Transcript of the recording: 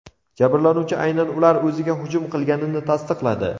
Jabrlanuvchi aynan ular o‘ziga hujum qilganini tasdiqladi.